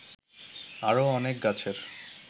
আরো অনেক গাছের